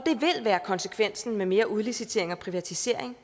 konsekvensen af mere udlicitering og privatisering